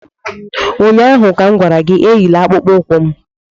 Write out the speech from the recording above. Ụnyaahụ m gwara gị, Enyila akpụkpọ ụkwụ m!